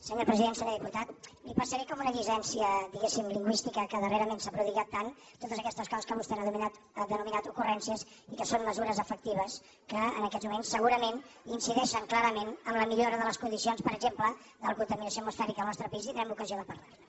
senyor diputat li passaré com una llicència diguéssim lingüística que darrerament s’ha prodigat tant totes aquestes coses que vostè ha denominat ocurrències i que són mesures efectives que en aquests moments segurament incideixen clarament en la millora de les condicions per exemple de la contaminació atmosfèrica al nostre país i tindrem ocasió de parlar ne